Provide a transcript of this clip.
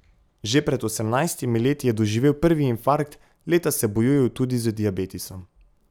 Že pred osemnajstimi leti je doživel prvi infarkt, leta se bojuje tudi z diabetesom.